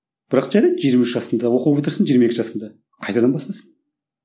бірақ жарайды жиырма үш жасында оқу бітірсін жиырма екі жасында қайтадан бастасын